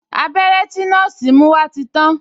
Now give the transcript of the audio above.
Abẹ́rẹ́ tí nọ́ọ̀sì mú wá ti tàn